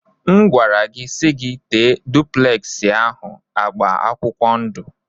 M gwara gị si gi tee dupleksi ahụ agba akwụkwọ ndụ.